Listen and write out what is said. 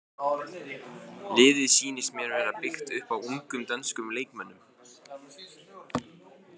Liðið sýnist mér vera byggt upp á ungum dönskum leikmönnum.